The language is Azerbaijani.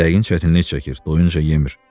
Yəqin çətinlik çəkir, doyunca yemir.